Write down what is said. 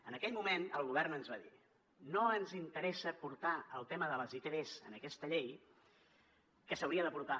en aquell moment el govern ens va dir no ens interessa portar el tema de les itvs en aquesta llei que s’hi hauria de portar